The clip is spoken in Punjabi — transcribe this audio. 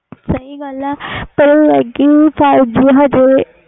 ਸਹੀ ਗੱਲ ਲੇਕਿਨ five G ਹਾਲੀ